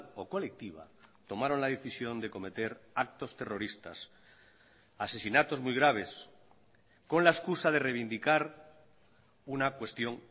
o colectiva tomaron la decisión de cometer actos terroristas asesinatos muy graves con la excusa de reivindicar una cuestión